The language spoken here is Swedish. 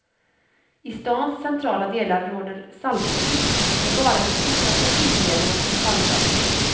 I stans centrala delar råder saltförbud, det är bara de stora trafiklederna som saltas.